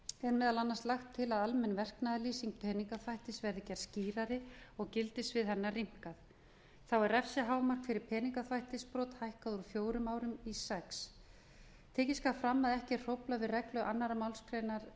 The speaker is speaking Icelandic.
er meðal annars lagt til að almenn verknaðarlýsing peningaþvættis verði gerð skýrari og gildissvið hennar rýmkað þá er refsihámark fyrir peningaþvættisbrot hækkað úr fjórum árum í sex það skal tekið fram að ekki er hróflað við reglu annarri málsgrein tvö